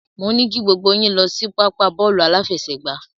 Mo ní kí gbogbo yín lọ sí pápá bọ́ọ̀lù aláfẹsẹ̀gbá.